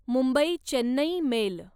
Mumbai Chennai mail